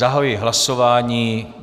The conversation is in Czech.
Zahajuji hlasování.